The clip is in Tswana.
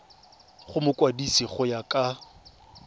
go mokwadise go ya ka